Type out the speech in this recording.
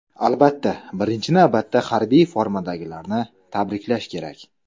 Albatta, birinchi navbatda harbiy formadagilarni tabriklash kerak.